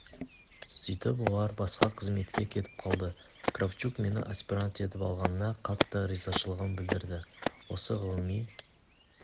сөйтіп олар басқа қызметке кетіп қалды кравчук мені аспирант етіп алғанына қатты ризашылығын білдірді осы ғылыми